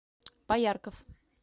поярков